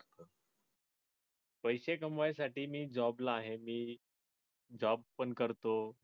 पैशे कामवाय साठी मी job ला आहे मी job पण करतो.